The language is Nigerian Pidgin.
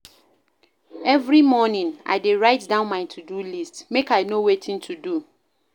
Every morning, I dey write down my to-do list, make I know wetin to do.